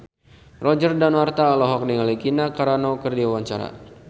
Roger Danuarta olohok ningali Gina Carano keur diwawancara